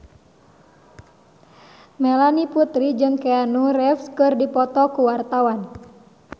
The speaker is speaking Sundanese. Melanie Putri jeung Keanu Reeves keur dipoto ku wartawan